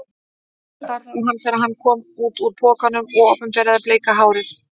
Hún starði á hann þegar hann kom út úr pokanum og opinberaði bleika hárið.